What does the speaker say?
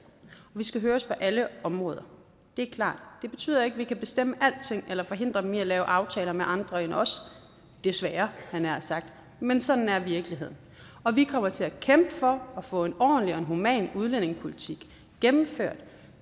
vi skal høres på alle områder det er klart det betyder ikke at vi kan bestemme alting eller forhindre dem i at lave aftaler med andre end os desværre havde jeg nær sagt men sådan er virkeligheden og vi kommer til at kæmpe for at få en ordentlig og human udlændingepolitik gennemført